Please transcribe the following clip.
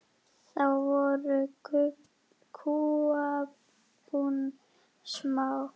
Þá voru kúabúin smá.